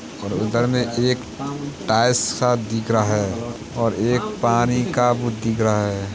और उधर में एक टाइल्स सा दिख रहा है और एक पानी का बू दिख रहा है।